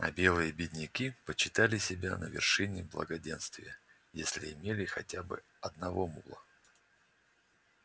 а белые бедняки почитали себя на вершине благоденствия если имели хотя бы одного мула